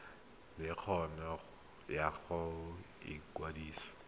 le kgano ya go ikwadisa